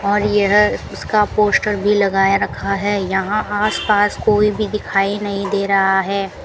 और यह उसका पोस्टर भी लगाए रखा है यहां आस पास कोई भी दिखाई नहीं दे रहा है।